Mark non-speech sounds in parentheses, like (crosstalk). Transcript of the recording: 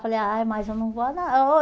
Falei, ai mas eu não vou (unintelligible)